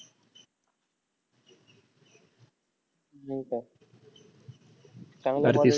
हो तर. चांगला bowler